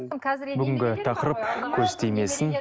бүгінгі тақырып көз тимесін